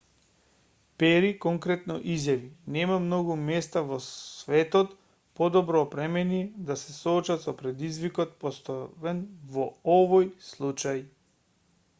пери конкретно изјави нема многу места во светот подобро опремени да се соочат со предизвикот поставен во овој случај